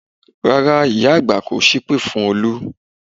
Rárá ìyá àgbà kò sépè fún Olú